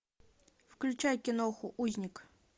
включай кино узник